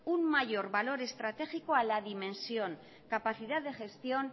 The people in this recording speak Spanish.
un mayor valor estratégico a la dimensión capacidad de gestión